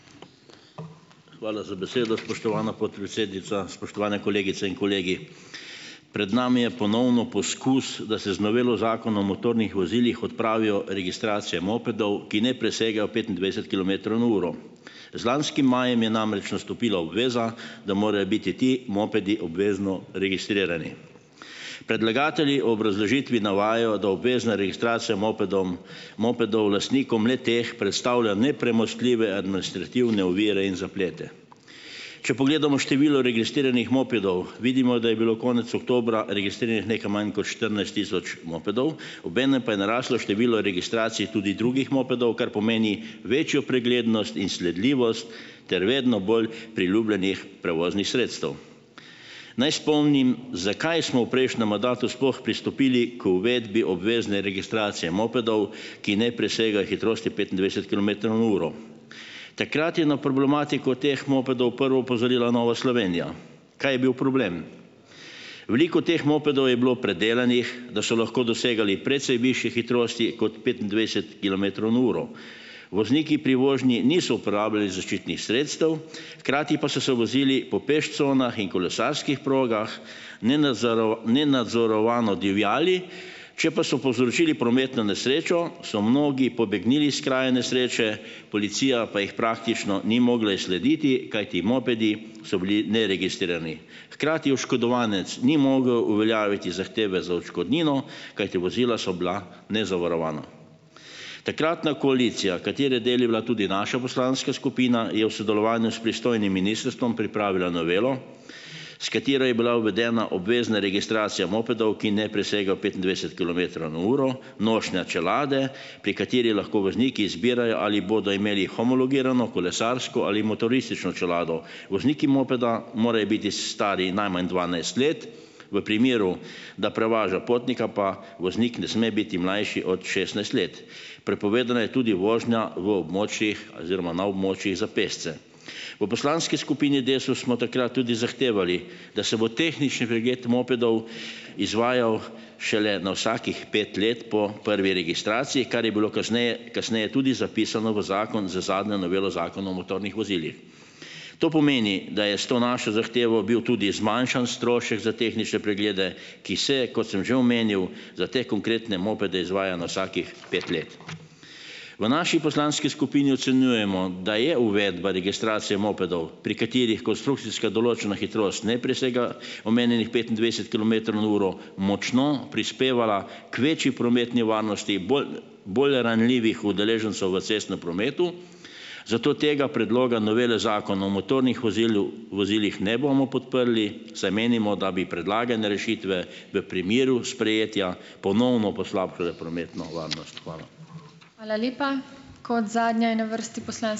Hvala za besedo, spoštovana podpredsednica. Spoštovani kolegice in kolegi! Pred nami je ponovno poskus, da se z novelo Zakona o motornih vozilih odpravijo registracije mopedov, ki ne presegajo petindvajset kilometrov na uro. Z lanskim majem je namreč nastopila obveza, da morajo biti ti mopedi obvezno registrirani. Predlagatelji o obrazložitvi navajajo, da obvezna registracija mopedom mopedov lastnikom le-teh predstavlja nepremostljive administrativne ovire in zaplete. Če pogledamo število registriranih mopedov vidimo, da je bilo konec oktobra registriranih nekaj manj kot štirinajst tisoč mopedov, obenem pa je naraslo število registracij tudi drugih mopedov, kar pomeni večjo preglednost in sledljivost ter vedno bolj priljubljenih prevoznih sredstev. Naj spomnim, zakaj smo v prejšnjem mandatu sploh pristopili k uvedbi obvezne registracije mopedov, ki ne presega hitrosti petindvajset kilometrov na uro. Takrat je na problematiko teh mopedov prvo opozorila Nova Slovenija. Kaj je bil problem? Veliko teh mopedov je bilo predelanih, da so lahko dosegali precej višje hitrosti kot petindvajset kilometrov na uro. Vozniki pri vožnji niso uporabljali zaščitnih sredstev, hkrati pa so se vozili po peš conah in kolesarskih progah, nenadzorovano divjali, če pa so povzročili prometno nesrečo so mnogi pobegnili s kraja nesreče, policija pa jih praktično ni mogla izslediti, kajti mopedi so bili neregistrirani. Hkrati oškodovanec ni mogel uveljaviti zahteve za odškodnino, kajti vozila so bila nezavarovana. Takratna koalicija, katere del je bila tudi naša poslanska skupina, je v sodelovanju s pristojnim ministrstvom pripravila novelo, s katero je bila uvedena obvezna registracija mopedov, ki ne presegajo petindvajset kilometrov na uro, nošnja čelade, pri kateri lahko vozniki izbirajo, ali bodo imeli homologirano, kolesarsko ali motoristično čelado. Vozniki mopeda morajo biti stari najmanj dvanajst let. V primeru, da prevaža potnika, pa voznik ne sme biti mlajši od šestnajst let. Prepovedana je tudi vožnja v območjih oziroma na območjih za pešce. V poslanski skupini Desus smo takrat tudi zahtevali, da se bo tehnični pregled mopedov izvajal šele na vsakih pet let po prvi registraciji, kar je bilo kasneje kasneje tudi zapisano v zakon z zadnjo novelo Zakona o motornih vozilih. To pomeni, da je s to našo zahtevo bil tudi zmanjšan strošek za tehnične preglede, ki se, kot sem že omenjal, za te konkretne mopede izvaja na vsakih pet let. V naši poslanski skupini ocenjujemo, da je uvedba registracije mopedov, pri katerih konstrukcijska določena hitrost ne presega omenjenih petindvajset kilometrov na uro, močno prispevala k večji prometni varnosti bolj bolj ranljivih udeležencev v cestnem prometu, zato tega predloga novele zakona o motornih vozilu vozilih ne bomo podprli, saj menimo, da bi predlagane rešitve v primeru sprejetja ponovno poslabšale prometno varnost. Hvala.